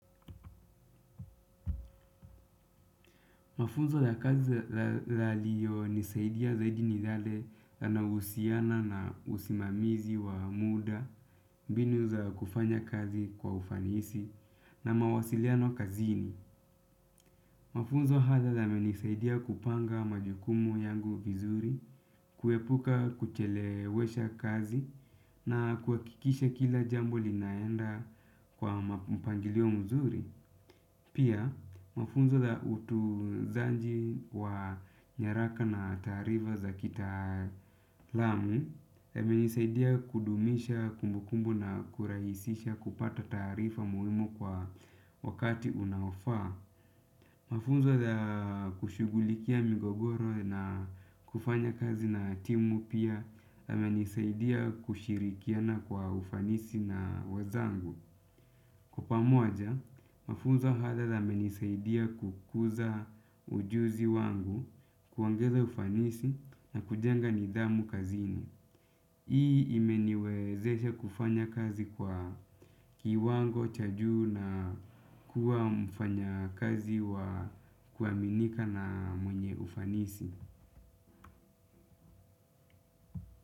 Mafunzo ya kazi laliyo nisaidia zaidi ni yale yanahusiana na usimamizi wa muda, mbinu za kufanya kazi kwa ufanisi, na mawasiliano kazini. Mafunzo haza yamenisaidia kupanga majukumu yangu vizuri, kuepuka kuchelewesha kazi, na kuakikisha kila jambo linaenda kwa mpangilio mzuri. Pia mafunzo ya utunzanji wa nyaraka na taarifa za kitaalamu yemenisaidia kudumisha kumbukumbu na kuraisisha kupata taarifa muhimu kwa wakati unaofaa. Mafunzo ya kushugulikia migogoro na kufanya kazi na timu pia yemenisaidia kushirikiana kwa ufanisi na wezangu. Kwa pamoja, mafunzo haya yamenisaidia kukuza ujuzi wangu kuongeza ufanisi na kujenga nidhamu kazini. Hii imeniwezesha kufanya kazi kwa kiwango cha juu na kuwa mfanya kazi wa kuaminika na mwenye ufanisi.